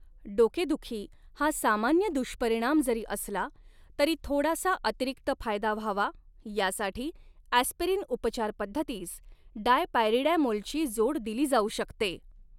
डोकेदुखी हा सामान्य दुष्परिणाम जरी असला, तरी थोडासा अतिरिक्त फायदा व्हावा, यासाठी अॅस्पिरीन उपचारपद्धतीस डायपायरिडॅमोलची जोड दिली जाऊ शकते.